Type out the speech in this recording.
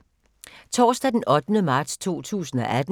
Torsdag d. 8. marts 2018